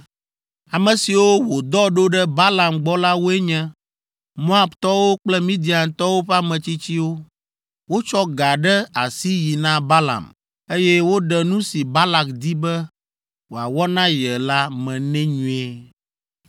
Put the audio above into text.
Ame siwo wòdɔ ɖo ɖe Balaam gbɔ la woe nye, Moabtɔwo kple Midiantɔwo ƒe ametsitsiwo. Wotsɔ ga ɖe asi yi na Balaam, eye woɖe nu si Balak di be wòawɔ na ye la me nɛ nyuie.